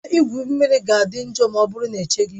Ebe igwu mmiri ga-adị njọ ma ọ bụrụ na echeghị